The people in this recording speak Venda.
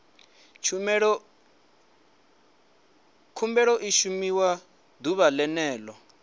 khumbelo i shumiwa ḓuvha ḽene ḽo